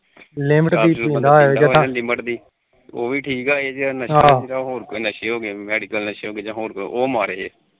ਹੋਰ ਕੋਈ ਨਸ਼ੇ ਹੋਗੇ medical ਨਸ਼ੇ ਹੋਗੇ ਜਾ ਹੋਰ ਕੋਈ ਉਹ ਮਾੜੇ